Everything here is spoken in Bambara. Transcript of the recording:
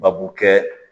Babu kɛ